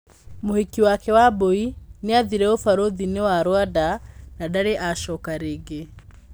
Mũhiki wakwa Wambũi nĩathire ũbarũthĩ- nĩ wa Rwanda na ndarĩ acoka rĩngĩ.